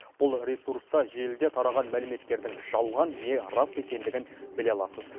бұл ресурста желіде тараған мәліметтердің жалған не рас екендігін біле аласыз